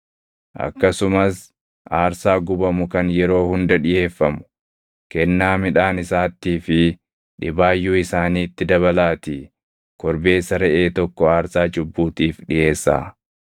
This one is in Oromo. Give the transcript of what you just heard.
Akkasumas aarsaa gubamu kan yeroo hunda dhiʼeeffamu, kennaa midhaan isaattii fi dhibaayyuu isaaniitti dabalaatii korbeessa reʼee tokko aarsaa cubbuutiif dhiʼeessaa.